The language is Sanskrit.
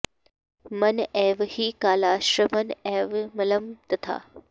मन एव हि कालश्च मन एव मलं तथा